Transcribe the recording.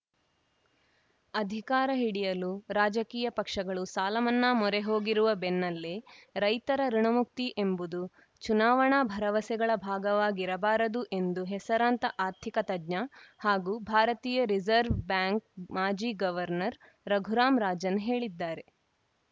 ಅಧಿಕಾರ ಹಿಡಿಯಲು ರಾಜಕೀಯ ಪಕ್ಷಗಳು ಸಾಲ ಮನ್ನಾ ಮೊರೆ ಹೋಗಿರುವ ಬೆನ್ನಲ್ಲೇ ರೈತರ ಋುಣಮುಕ್ತಿ ಎಂಬುದು ಚುನಾವಣಾ ಭರವಸೆಗಳ ಭಾಗವಾಗಿರಬಾರದು ಎಂದು ಹೆಸರಾಂತ ಆರ್ಥಿಕ ತಜ್ಞ ಹಾಗೂ ಭಾರತೀಯ ರಿಸವ್‌ರ್ ಬ್ಯಾಂಕ್‌ ಮಾಜಿ ಗವರ್ನರ್‌ ರಘುರಾಂ ರಾಜನ್‌ ಹೇಳಿದ್ದಾರೆ